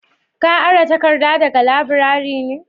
Ka ara takarda daga laburare ne?